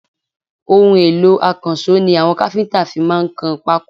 Ohun èlò akanṣo ni àwọn kafinta fí máa kan pako